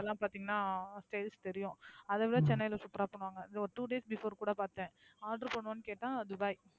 இதெல்லாம் பாத்தீங்கன்னா தெரியும் அதை விட சென்னைல super ஆ பண்ணுவாங்க. ஒரு two days before கூட பாத்தேன்.